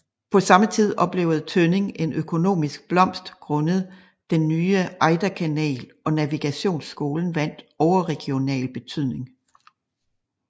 På samme tid oplevede Tønning en økonomisk blomst grundet den nye Ejderkanal og navigationsskolen vandt overregional betydning